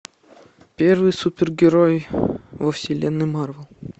первый супергерой во вселенной марвел